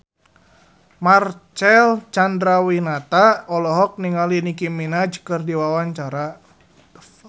Marcel Chandrawinata olohok ningali Nicky Minaj keur diwawancara